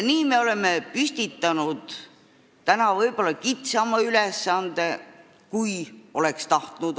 Nii me oleme püstitanud täna võib-olla kitsama ülesande, kui oleks tahtnud.